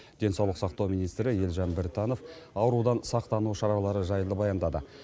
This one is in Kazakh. денсаулық сақтау министрі елжан біртанов аурудан сақтану шаралары жайлы баяндады